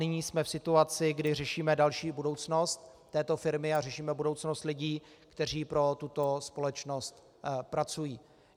Nyní jsme v situaci, kdy řešíme další budoucnost této firmy a řešíme budoucnost lidí, kteří pro tuto společnost pracují.